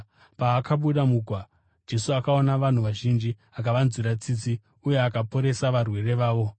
Paakabuda mugwa, Jesu akaona vanhu vazhinji, akavanzwira tsitsi uye akaporesa varwere vavo.